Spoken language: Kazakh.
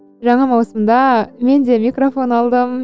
жаңа маусымда мен де микрофон алдым